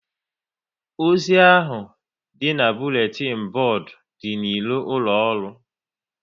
Ozi ahụ dị n'buletin bodu dị n'iro ụlọ ọrụ